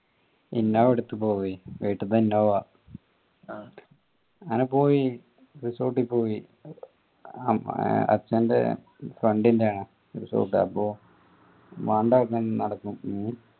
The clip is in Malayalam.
innova എടുത്ത് പോവ്വേ വീട്ടിത്ത innova അങ്ങനെ പോയി resort പോയി ആം അച്ഛന്റെ friend ന്റെ resort ആ അപ്പൊ